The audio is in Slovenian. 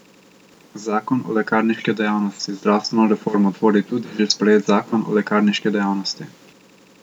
Zakon o lekarniški dejavnosti Zdravstveno reformo tvori tudi že sprejet zakon o lekarniški dejavnosti.